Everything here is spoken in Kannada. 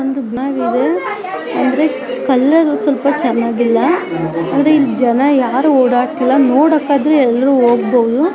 ಜನರು_ಮಾತನಾಡುವುದು ಇದು ಒಂದು ಬಿಲ್ಡಿಂಗ್ ಅಂತ ಹೇಳ್ಬಹುದು ಒಂದ್ರು ಚನಾಗಿದೆ ಅಂದ್ರೆ ಕಲ್ಲರ್ರು ಸ್ವಲ್ಪ ಚನ್ನಾಗಿಲ್ಲ ಅಂದ್ರೆ ಇಲ್ ಜನ ಯಾರು ಓಡಾಡ್ತಿಲ್ಲ ನೋಡಕ್ಕಾದ್ರು ಎಲ್ರು ಹೋಗ್ಬೊಹುದು ಜನರು_ಮಾತನಾಡುವುದು .